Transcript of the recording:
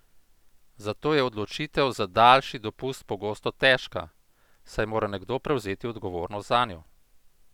Zato je odločitev za daljši dopust pogosto težka, saj mora nekdo prevzeti odgovornost zanjo.